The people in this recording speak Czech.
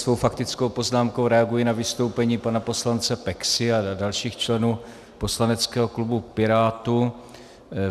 Svou faktickou poznámkou reaguji na vystoupení pana poslance Peksy a dalších členů poslaneckého klubu Pirátů.